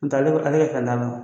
N tɛ ale kɔni ale ye kɛ